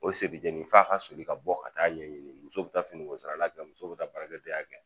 O se bi jeni f'a ka soli ka bɔ ka taa'a ɲɛɲini muso bɛ taa finiko sarala kɛ muso bɛ taa baarakɛdenya kɛ